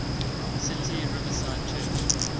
city riverside church